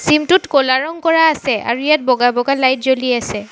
Gym টোত ক'লা ৰং কৰা আছে আৰু ইয়াত বগা বগা লাইট জ্বলি আছে।